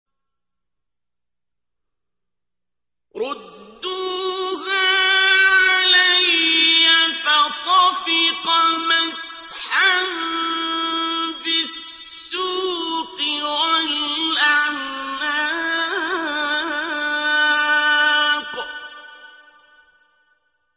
رُدُّوهَا عَلَيَّ ۖ فَطَفِقَ مَسْحًا بِالسُّوقِ وَالْأَعْنَاقِ